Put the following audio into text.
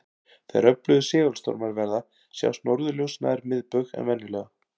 Þegar öflugir segulstormar verða sjást norðurljós nær miðbaug en venjulega.